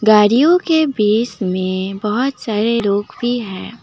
गाड़ियों के बीच में बहुत सारे लोग भी हैं।